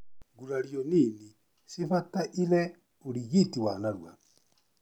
Ngurario nini cibataire ũrigiti wa narua.